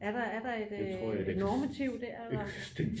Er der er der et normativ der eller